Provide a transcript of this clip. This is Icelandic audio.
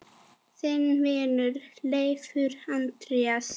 Þinn vinur, Leifur Andri.